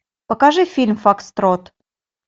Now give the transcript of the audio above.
покажи фильм фокстрот